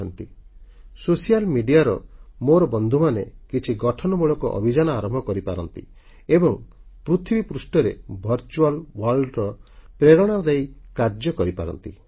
ସାମାଜିକ ଗଣମାଧ୍ୟମ ସୋସିଆଲ୍ Mediaର ମୋର ବନ୍ଧୁମାନେ କିଛି ଗଠନମୂଳକ ଅଭିଯାନ ଆରମ୍ଭ କରିପାରନ୍ତି ଏବଂ ପୃଥିବୀପୃଷ୍ଠରେ ଭର୍ଚ୍ୟୁଆଲ ୱର୍ଲ୍ଡ ର ପ୍ରେରଣାଦାୟୀ କାର୍ଯ୍ୟ କରିପାରନ୍ତି